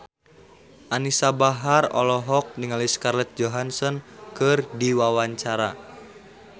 Anisa Bahar olohok ningali Scarlett Johansson keur diwawancara